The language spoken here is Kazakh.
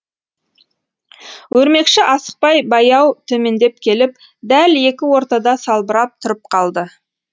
өрмекші асықпай баяу төмендеп келіп дәл екі ортада салбырап тұрып қалды